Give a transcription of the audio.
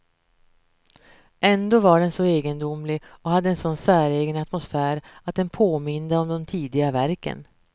Ändå var den så egendomlig och hade en sådan säregen atmosfär att den påminde om de tidiga verken.